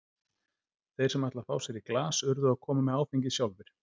Þeir sem ætla að fá sér í glas urðu að koma með áfengið sjálfir.